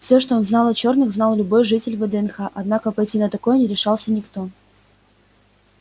все что он знал о черных знал любой житель вднх однако пойти на такое не решался никто